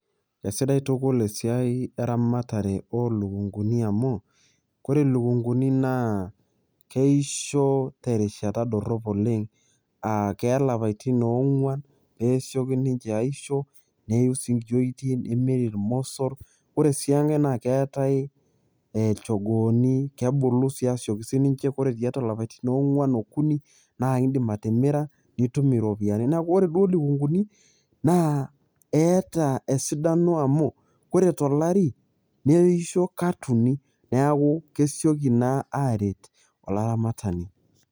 Kesidai tukul esiai eramatare olukunguni amu koree lukunguni na keisho terishata dorop oleng aa keeya lapatin oonguan pesioki ninche aisho neiu sii nkiyoitin neme iromosor oree si enkai naa keetai lchogooni kebulu sinye asioki sininiche ore tiatua lapatin oonguan okuni naa indim atimira nitum iropiyani neaku ore lukunguni naa eeta esidano amu ore tolari neisho kat uni neaku kesioki naa aret olaramatani.